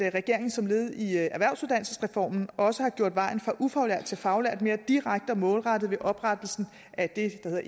regeringen som led i erhvervsuddannelsesreformen også har gjort vejen fra ufaglært til faglært mere direkte og målrettet ved oprettelsen af det der